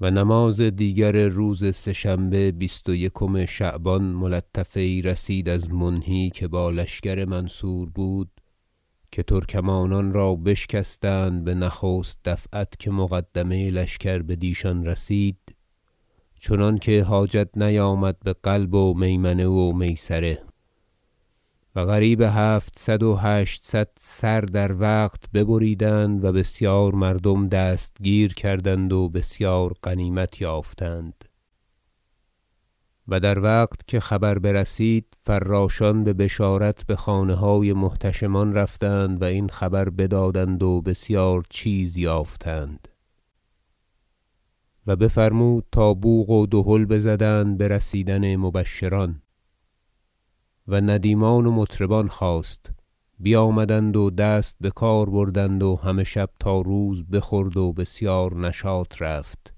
و نماز دیگر روز سه شنبه بیست و یکم شعبان ملطفه یی رسید از منهی که با لشکر منصور بود که ترکمانان را بشکستند به نخست دفعت که مقدمه لشکر بدیشان رسید چنانکه حاجت نیامد به قلب و میمنه میسره و قریب هفتصد و هشتصد سر در وقت ببریدند و بسیار مردم دستگیر کردند و بسیار غنیمت یافتند در وقت که خبر برسید فراشان به بشارت به خانه های محتشمان رفتند و این خبر بدادند و بسیار چیز یافتند و بفرمود تا بوق و دهل بزدند به رسیدن مبشران و ندیمان و مطربان خواست بیامدند و دست به کار بردند و همه شب تا روز بخورد و بسیار نشاط رفت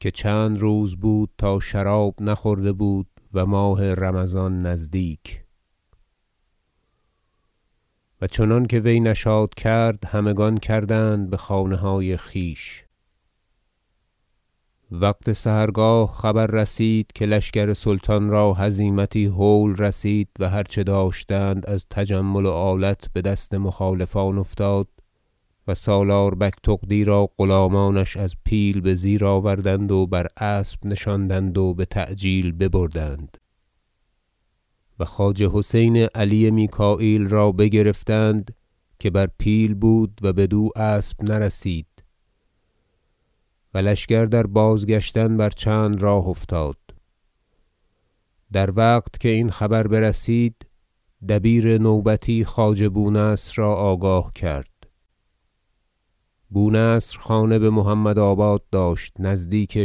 که چند روز بود تا شراب نخورده بود و ماه رمضان نزدیک و چنانکه وی نشاط کرد همگان کردند به خانه های خویش وقت سحرگاه خبر رسید که لشکر سلطان را هزیمتی هول رسید و هر چه داشتند از تجمل و آلت به دست مخالفان افتاد و سالار بگتغدی را غلامانش از پیل به زیر آوردند و بر اسب نشاندند و به تعجیل ببردند و خواجه حسین علی میکاییل را بگرفتند که بر پیل بود و بدو اسب نرسید و لشکر در بازگشتن بر چند راه افتاد در وقت که این خبر برسید دبیر نوبتی خواجه بونصر را آگاه کرد بونصر خانه به محمد آباد داشت نزدیک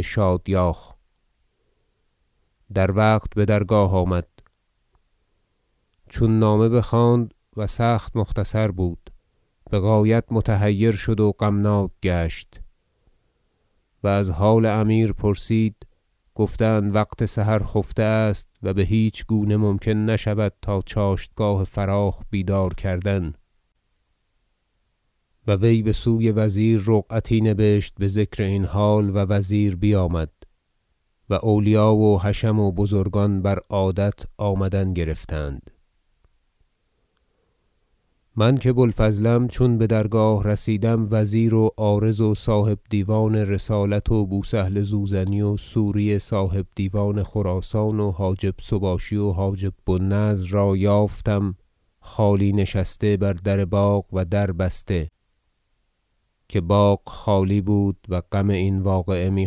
شادیاخ در وقت به درگاه آمد چون نامه بخواند- و سخت مختصر بود- به غایت متحیر شد و غمناک گشت و از حال امیر پرسید گفتند وقت سحر خفته است و به هیچ گونه ممکن نشود تا چاشتگاه فراخ بیدار کردن و وی بسوی وزیر رقعتی نبشت به ذکر این حال و وزیر بیامد و اولیا و حشم و بزرگان بر عادت آمدن گرفتند من که بوالفضلم چون به درگاه رسیدم وزیر و عارض و صاحب دیوان رسالت و بوسهل زوزنی و سوری صاحب دیوان خراسان و حاجب سباشی و حاجب بو النضر را یافتم خالی نشسته بر در باغ و در بسته که باغ خالی بود و غم این واقعه می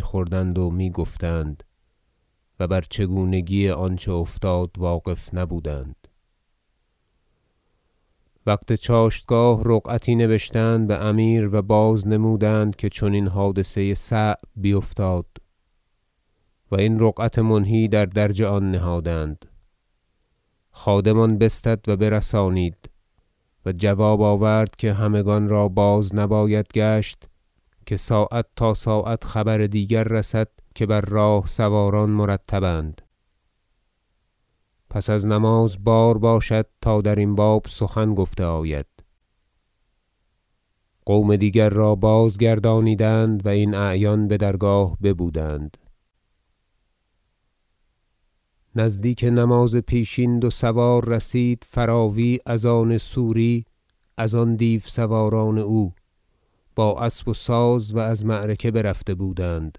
خوردند و می گفتند و بر چگونگی آنچه افتاد واقف نبودند وقت چاشتگاه رقعتی نبشتند به امیر و بازنمودند که چنین حادثه صعب بیفتاد و این رقعت منهی در درج آن نهادند خادم آن بستد و برسانید و جواب آورد که همگان را بازنباید گشت که ساعت تا ساعت خبر دیگر رسد که بر راه سواران مرتب اند پس از نماز بار باشد تا درین باب سخن گفته آید قوم دیگر را بازگردانیدند و این اعیان به درگاه ببودند نزدیک نماز پیشین دو سوار رسید فراوی از آن سوری از آن دیو سواران او با اسب و ساز و از معرکه برفته بودند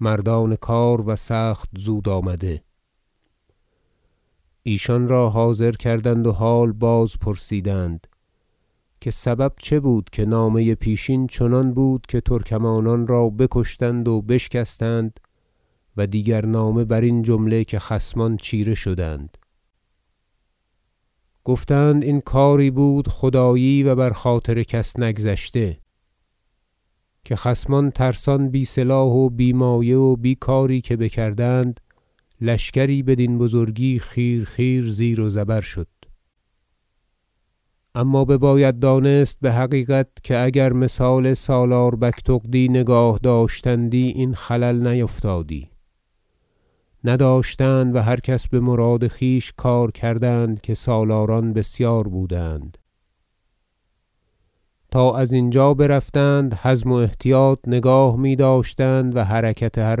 مردان کار و سخت زود آمده ایشان را حاضر کردند و حال بازپرسیدند که سبب چه بود که نامه پیشین چنان بود که ترکمانان را بکشتند و بشکستند و دیگر نامه برین جمله که خصمان چیره شدند گفتند این کاری بود خدایی و بر خاطر کس نگذشته که خصمان ترسان و بی سلاح و بی مایه و بی کاری که بکردند لشکری بدین بزرگی خیر خیر زیر و زبر شد اما بباید دانست به حقیقت که اگر مثال سالار بگتغدی نگاه داشتندی این خلل نیفتادی نداشتند و هر کس به مراد خویش کار کردند که سالاران بسیار بودند تا از اینجا برفتند حزم و احتیاط نگاه می داشتند و حرکت هر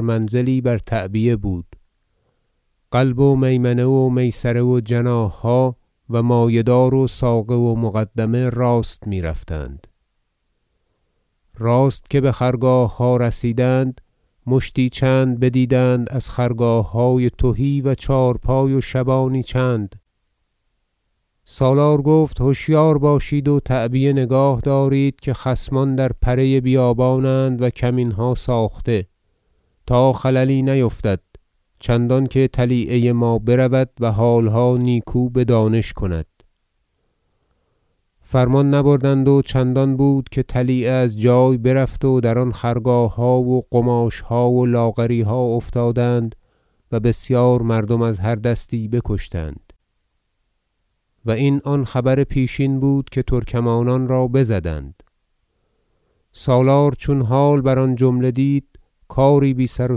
منزلی بر تعبیه بود قلب و میمنه و میسره و جناح ها و مایه دار و ساقه و مقدمه راست می رفتند راست که به خرگاه ها رسیدند مشتی چند بدیدند از خرگاه های تهی و چهارپای و شبانی چند سالار گفت هشیار باشید و تعبیه نگاه دارید که خصمان در پره بیابان اند و کمین ها ساخته تا خللی نیفتد چندانکه طلیعه ما برود و حالها نیکو بدانش کند فرمان نبردند و چندان بود که طلیعه از جای برفت و در آن خرگاهها و قماش ها و لاغری ها افتادند و بسیار مردم از هر دستی بکشتند و این آن خبر پیشین بود که ترکمانان را بزدند سالار چون حال بر آن جمله دید کاری بی سر و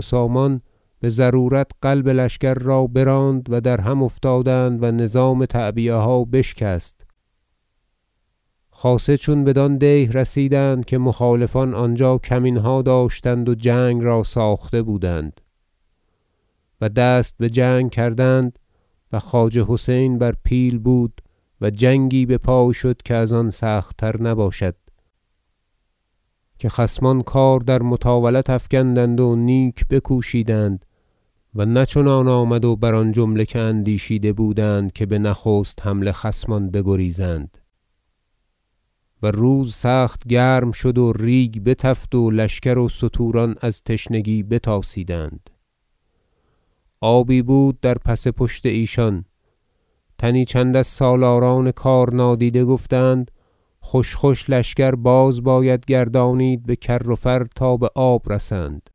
سامان به ضرورت قلب لشکر را براند و در هم افتادند و نظام تعبیه ها بشکست خاصه چون بدان دیه رسیدند که مخالفان آنجا کمین ها داشتند و جنگ را ساخته بودند و دست به جنگ کردند و خواجه حسین بر پیل بود و جنگی به پای شد که از آن سخت تر نباشد که خصمان کار در مطاولت افگندند و نیک بکوشیدند و نه چنان آمد و بر آن جمله که اندیشیده بودند که به نخست حمله خصمان بگریزند و روز سخت گرم شد و ریگ بتفت و لشکر و ستوران از تشنگی بتاسیدند آبی بود در پس پشت ایشان تنی چند از سالاران کار نادیده گفتند خوش خوش لشکر باز باید گردانید به کر و فر تا به آب رسند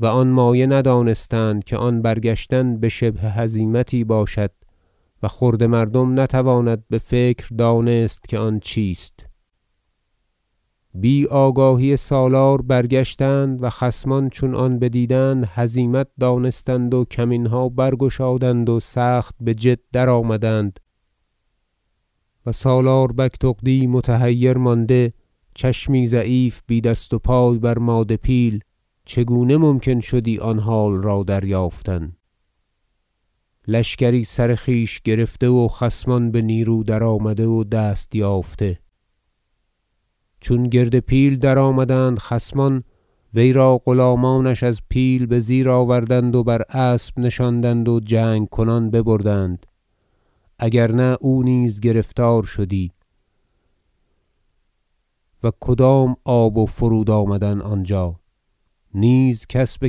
و آن مایه ندانستند که آن برگشتن به شبه هزیمتی باشد و خرده مردم نتواند به فکر دانست که آن چیست بی آگاهی سالار برگشتند و خصمان چون آن بدیدند هزیمت دانستند و کمین ها برگشادند و سخت به جد درآمدند و سالار بگتغدی متحیر مانده چشمی ضعیف بی دست و پای بر مادپیل چگونه ممکن شدی آن حال را دریافتن لشکری سر خویش گرفته و خصمان به نیرو درآمده و دست یافته چون گرد پیل درآمدند خصمان وی را غلامانش از پیل به زیر آوردند و بر اسب نشاندند و جنگ کنان ببردند اگر نه او نیز گرفتار شدی و کدام آب و فرود آمدن آنجا نیز کس به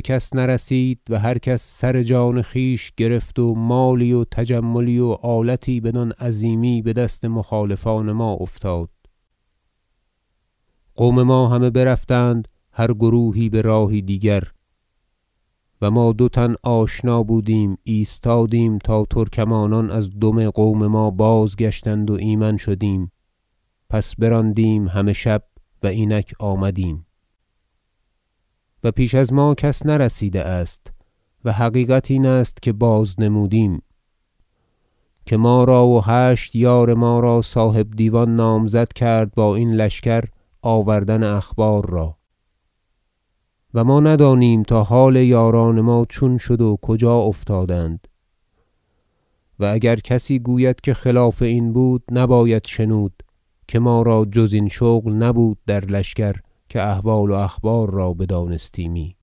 کس نرسید و هر کس سر جان خویش گرفت و مالی و تجملی و آلتی بدان عظیمی به دست مخالفان ما افتاد قوم ما همه برفتند هر گروهی به راهی دیگر و ما دو تن آشنا بودیم ایستادیم تا ترکمانان از دم قوم ما بازگشتند و ایمن شدیم پس براندیم همه شب و اینک آمدیم و پیش از ما کس نرسیده است و حقیقت این است که بازنمودیم که ما را و هشت یار ما را صاحب دیوان نامزد کرد با این لشکر آوردن اخبار را و ما ندانیم تا حال یاران ما چون شد و کجا افتادند و اگر کسی گوید که خلاف این بود نباید شنود که ما را جز این شغل نبود در لشکر که احوال و اخبار را بدانستیمی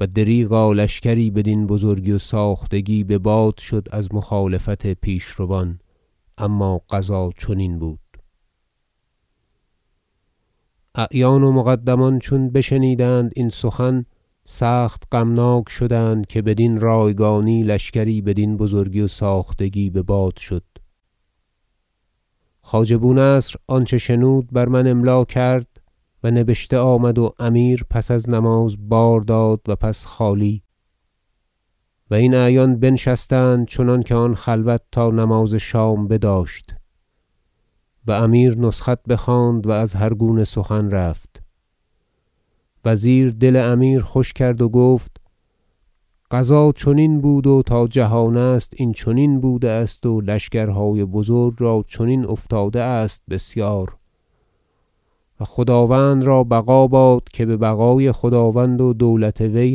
و دریغا لشکری بدین بزرگی و ساختگی که به باد شد از مخالفت پیشروان اما قضا چنین بود اعیان و مقدمان چون بشنیدند این سخن سخت غمناک شدند که بدین رایگانی لشکری بدین بزرگی و ساختگی به باد شد خواجه بونصر آنچه شنود بر من املا کرد و نبشته آمد و امیر پس از نماز بار داد و پس خالی کردند و این اعیان بنشستند چنانکه آن خلوت تا نماز شام بداشت و امیر نسخت بخواند و از هرگونه سخن رفت وزیر دل امیر خوش کرد و گفت قضا چنین بود و تا جهان است این چنین بوده است و لشکرهای بزرگ را چنین افتاده است بسیار و خداوند را بقا باد که به بقای خداوند و دولت وی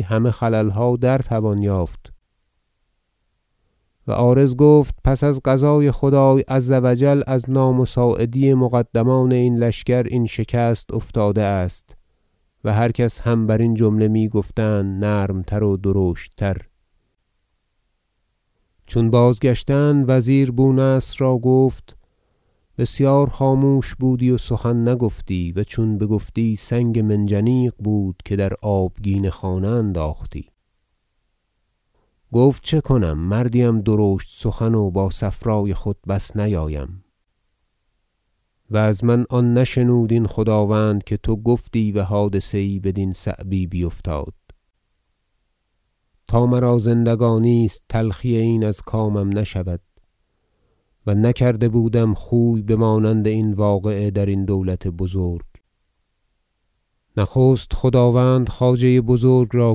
همه خلل ها را در توان یافت و عارض گفت پس از قضای خدای عز و جل از نامساعدی مقدمان لشکر این شکست افتاده است و هر کس هم برین جمله می گفتند نرم تر و درشت تر چون بازگشتند وزیر بونصر را گفت بسیار خاموش بودی و سخن نگفتی و چون بگفتی سنگ منجنیق بود که در آبگینه خانه انداختی گفت چه کنم مردی ام درشت سخن و با صفرای خود بس نیایم و از من آن نشنود این خداوند که تو گفتی و حادثه یی بدین صعبی بیفتاد تا مرا زندگانی است تلخی این از کامم نشود و نکرده بودم خوی بمانند این واقعه درین دولت بزرگ نخست خداوند خواجه بزرگ را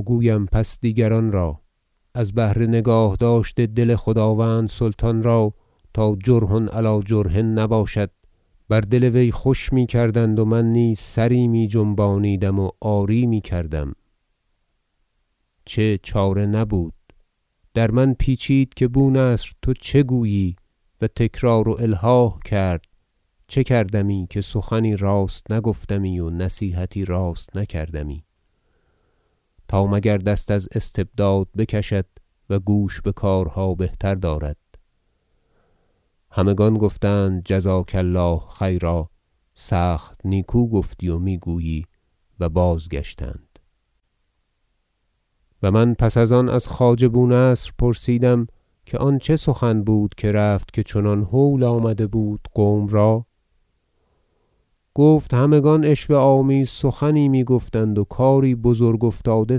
گویم پس دیگران را از بهر نگاه داشت دل خداوند سلطان را تا جرح علی جرح نباشد بر دل وی خوش می کردند و من نیز سری می جنبانیدم و آری می کردم چه چاره نبود در من پیچید که بو نصر تو چه گویی و تکرار و الحاح کرد چه کردمی که سخنی راست نگفتمی و نصیحتی راست نکردمی تا مگر دست از استبداد بکشد و گوش به کارها بهتر دارد همگان گفتند جزاک الله خیرا سخت نیکو گفتی و می گویی و بازگشتند و من پس از آن از خواجه بونصر پرسیدم که آن چه سخن بود که رفت که چنان هول آمده بود قوم را گفت همگان عشوه آمیز سخنی می گفتند و کاری بزرگ افتاده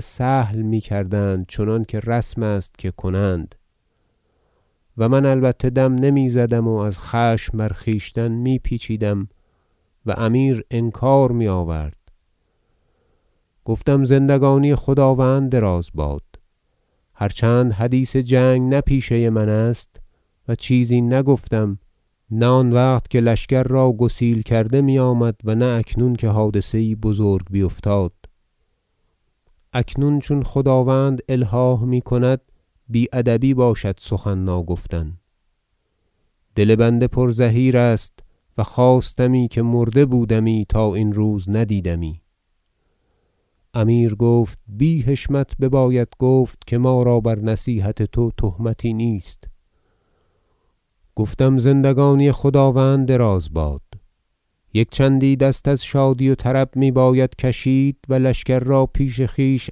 سهل می کردند چنانکه رسم است که کنند و من البته دم نمی زدم و از خشم بر خویشتن می پیچیدم و امیر انکار می آورد گفتم زندگانی خداوند دراز باد هر چند حدیث جنگ نه پیشه من است و چیزی نگفتم نه آن وقت که لشکر گسیل کرده می آمد و نه اکنون که حادثه یی بزرگ بیفتاد اکنون چون خداوند الحاح می کند بی ادبی باشد سخن ناگفتن دل بنده پر زحیر است و خواستمی که مرده بودمی تا این روز ندیدمی امیر گفت بی حشمت بباید گفت که ما را بر نصیحت تو تهمتی نیست گفتم زندگانی خداوند دراز باد یک چندی دست از شادی و طرب می باید کشید و لشکر را پیش خویش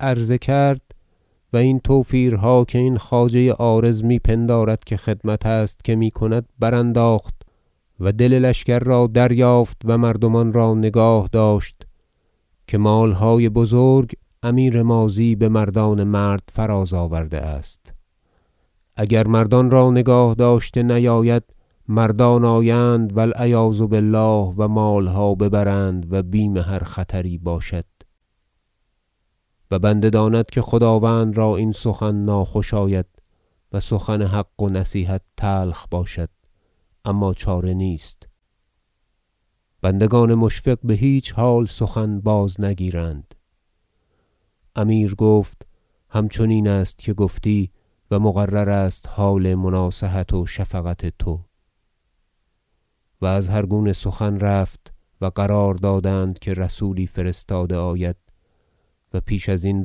عرضه کرد و این توفیرها که این خواجه عارض می پندارد که خدمت است که می کند برانداخت و دل لشکر را دریافت و مردمان را نگاه داشت که مال های بزرگ امیرماضی به مردان مرد فراز آورده است اگر مردان را نگاه داشته نیاید مردان آیند و العیاذ بالله و مال ها ببرند و بیم هر خطری باشد و بنده داند که خداوند را این سخن ناخوش آید و سخن حق و نصیحت تلخ باشد اما چاره نیست بندگان مشفق به هیچ حال سخن بازنگیرند امیر گفت همچنین است که گفتی و مقرر است حال مناصحت و شفقت تو و از هر گونه سخن رفت و قرار دادند که رسولی فرستاده آید و پیش ازین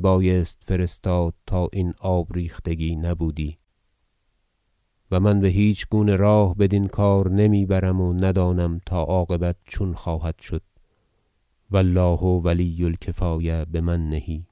بایست فرستاد تا این آب ریختگی نبودی و من به هیچ گونه راه بدین کار نمی برم و ندانم تا عاقبت چون خواهد شد و الله ولی الکفایة بمنه